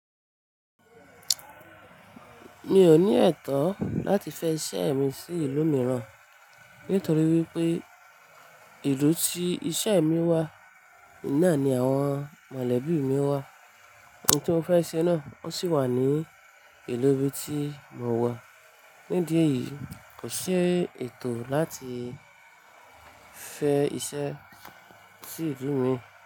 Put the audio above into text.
Mi ò ní ẹ̀tọ́ láti fẹ iṣẹ́ mi sí ìlú mìíràn nítorí wípé ìlú tí iṣẹ́ mi wà, oun ná ni àwọn mọ̀lẹ́bí mi wà. Ohun tí mo fẹ́ ṣe náà ó sì wà ní ìlú ibi tí mò wà. Nídìí eyìí kò ṣi etọ́ láti fẹ iṣẹ́ sí ìlú mi.